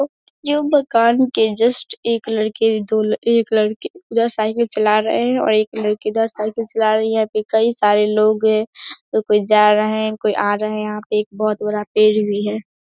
ये मकान के जस्ट एक लड़के दो एक लड़के उधर साईकल चला रहे हैं और एक लड़की इधर साईकल चला रही है। यहाँ पे कई सारे लोग हैं। कोई जा रहे है और कोई आ रहे हैं। यहाँ पे एक बोहोत बड़ा पेड़ भी है।